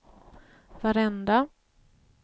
varenda